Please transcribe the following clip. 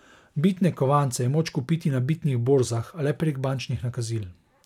Bitne kovance je moč kupiti na bitnih borzah, a le prek bančnih nakazil.